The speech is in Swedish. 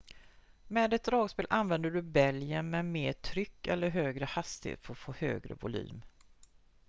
med ett dragspel använder du bälgen med mer tryck eller högre hastighet för att få högre volym